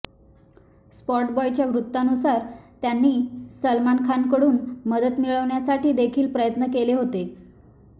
स्पॉटबॉयच्या वृत्तानुसार त्यांनी सलमान खानकडून मदत मिळवण्यासाठी देखील प्रयत्न केले होते